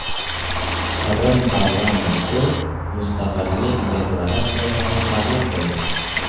Qrim parlamenti mustaqillik deklaratsiyasini qabul qildi.